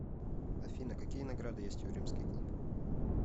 афина какие награды есть у римский клуб